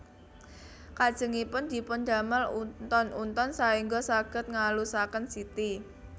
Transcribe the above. Kajengipun dipun damel unton unton saéngga saged ngalusaken siti